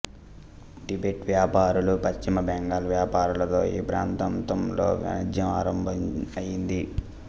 Tibet వ్యాపారులు పశ్చిమ బెంగాల్ వ్యాపారులతో ఈ ప్రాంతంతంలో వాణిజ్యం ఆరంభం అయింది